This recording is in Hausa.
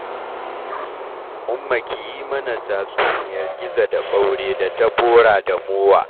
Umma ki yi mana tatsuniyar Gizo da Ɓaure da ta Bora da Mowa.